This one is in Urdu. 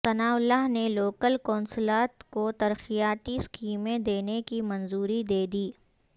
ثناء اللہ نے لوکل کونسلات کو ترقیاتی سیکمیں دینے کی منظوری دیدی